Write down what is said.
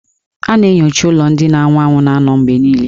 A na-enyocha ụlọ ndị na-anwụ anwụ na-anọ mgbe niile.